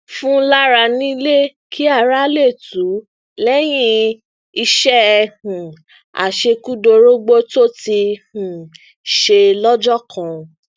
fun lara nílé kí ara lè tù ú léyìn iṣé um àṣekúdórógbó tó ti um ṣe lójó kan